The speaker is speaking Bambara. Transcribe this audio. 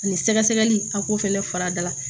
Ani sɛgɛsɛgɛli a k'o fɛnɛ fara da